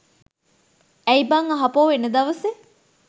ඇයි බං ආපහු එන දවසේ